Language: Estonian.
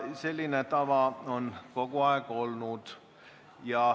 Selline tava on kogu aeg olnud.